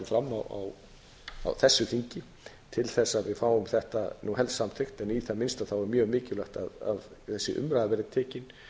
fram á þessu þingi til þess að við fáum þetta helst samþykkt en í það minnsta er mjög mikilvægt að þessi umræða verði tekin